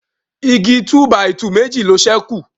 Igi túbàìtuù Meji ló sẹku